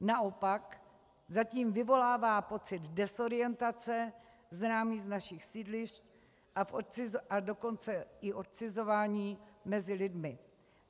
Naopak zatím vyvolává pocit dezorientace známý z našich sídlišť, a dokonce i odcizování mezi lidmi.